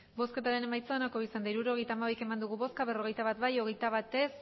hirurogeita hamabi eman dugu bozka berrogeita bat bai hogeita bat ez